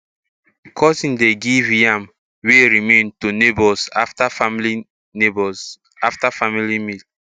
cousin dey give yam wey remain to neighbours afta family neighbours afta family meal